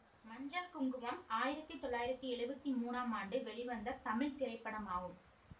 மஞ்சள் குங்குமம் ஆயிரத்தி தொள்ளாயிரத்தி எழுவத்தி மூணாம் ஆண்டு வெளிவந்த தமிழ் திரைப்படமாகும்